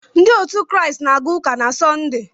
Ndị Kraịst na-aga chọọchị na Sọnde.